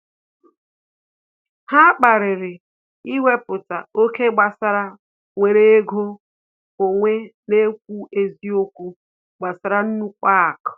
Ha kpariri iweputa oké gbasara nwere ego onwe na ekwu eziokwu gbasara nnukwu aku